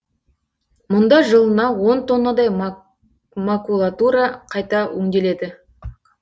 мұнда жылына он тоннадай макулатура қайта өңделеді